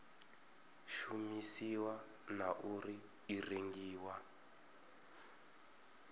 shumisiwa na uri i rengiwa